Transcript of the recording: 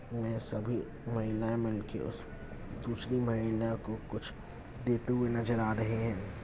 ने सभी महिला मिलके उस दूसरी महिला को कुछ देते हुए नजर आ रहे है।